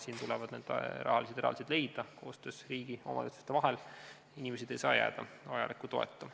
Siin tuleb need rahalised eraldised leida koostöös riigi ja omavalitsuse vahel, inimesed ei saa jääda vajaliku toeta.